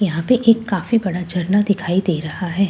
यहां पे एक काफी बड़ा झरना दिखाई दे रहा है।